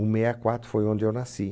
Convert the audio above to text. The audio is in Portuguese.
Um meia quatro, foi onde eu nasci.